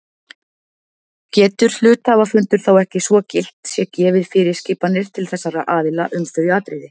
Getur hluthafafundur þá ekki svo gilt sé gefið fyrirskipanir til þessara aðila um þau atriði.